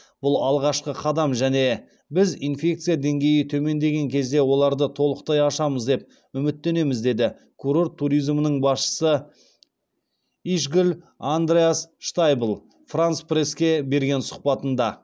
бұл алғашқы қадам және біз инфекция деңгейі төмендеген кезде оларды толықтай ашамыз деп үміттенеміз деді курорт туризмінің басшысы ишгль андреас штайбл франс пресске берген сұхбатында